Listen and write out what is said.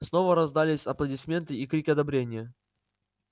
снова раздались аплодисменты и крики одобрения